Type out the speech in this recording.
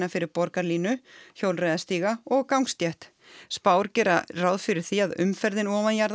fyrir borgarlínu hjólreiðastíga og gangstétt spár gera ráð fyrir því að umferðin